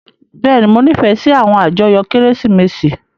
Bẹ́ẹ̀ni, Mo nifẹ si awọn ajoyo Keresimesi.